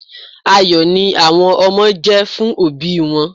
Ayọ̀ ni àwọn ọmọ jẹ́ fún òbí wọn.